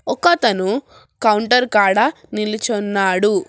ఒకతను కౌంటర్ కాడ నిలుచున్నాడు.